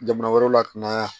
Jamana wɛrɛw la ka na